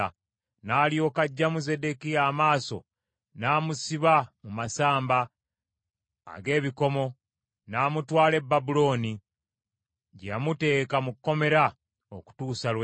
N’alyoka aggyamu Zeddekiya amaaso n’amusiba mu masamba ag’ebikomo n’amutwala e Babulooni, gye yamuteeka mu kkomera okutuusa lwe yafa.